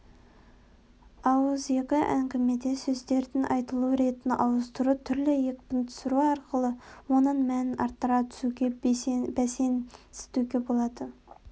ауызекі әңгімеде сөздердің айтылу ретін ауыстыру түрлі екпін түсіру арқылы оның мәнін арттыра түсуге бәсеңсітуге болады